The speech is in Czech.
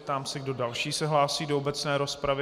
Ptám se, kdo další se hlásí do obecné rozpravy.